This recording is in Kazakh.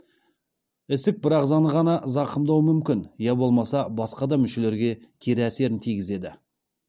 ісік бір ағзаны ғана зақымдау мүмкін я болмаса басқа да мүшелерге кері әсерін тигізеді